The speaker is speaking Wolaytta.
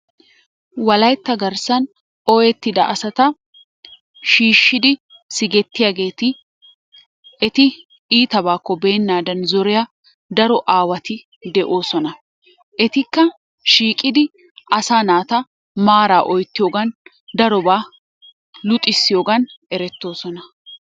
Wolaytta garssaan ooyettida asata shiishshidi sigettiyageeti eti iittabaakko beenaadan zoriya daro aawati de'oosonna. Etikka shiiqidi asaa naata maaraa oyttiyogan darobaa luxxissiyogan erettoosona.